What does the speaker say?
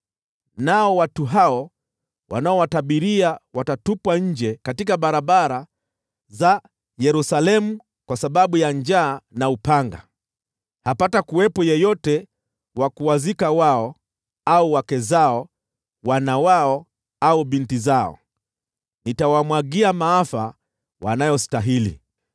Nao watu hao wanaowatabiria watatupwa nje katika barabara za Yerusalemu kwa sababu ya njaa na upanga. Hapatakuwepo yeyote wa kuwazika wao au wake zao, wana wao au binti zao. Nitawamwagia maafa wanayostahili.